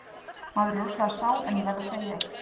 Maður er rosalega sár en ég verð að segja eitt.